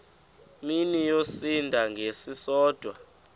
mini yosinda ngesisodwa